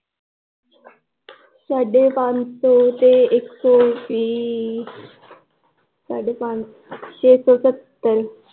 ਸਾਢੇ ਪੰਜ ਸੋ ਤੇ ਇਕ ਸੋ ਵੀਹ ਸਾਢੇ ਪੰਜ ਛੇ ਸੌ ਸਤਰ l